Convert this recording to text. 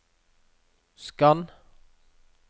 skann